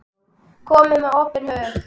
Komið með opinn hug.